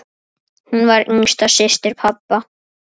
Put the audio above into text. Hún var yngsta systir pabba.